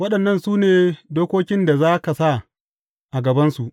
Waɗannan su ne dokokin da za ka sa a gabansu.